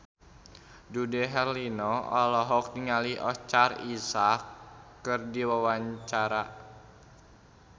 Dude Herlino olohok ningali Oscar Isaac keur diwawancara